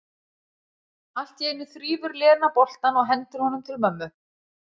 Allt í einu þrífur Lena boltann og hendir honum til mömmu.